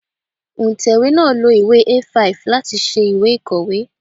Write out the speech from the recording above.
Òǹtẹ̀wé náà lo ìwé A5 láti ṣe ìwé ìkọ̀wé.